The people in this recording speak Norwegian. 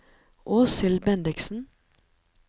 Åshild Bendiksen